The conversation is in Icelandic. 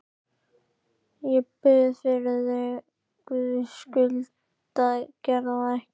Ég bið þig fyrir Guðs skuld að gera það ekki!